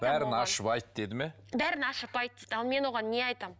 бәрін ашып айт деді ме бәрін ашып айт дейді ал мен оған не айтамын